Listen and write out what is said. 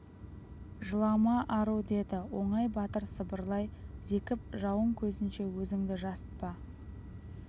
жылама ару деді оңай батыр сыбырлай зекіп жауың көзінше өзіңді жасытпа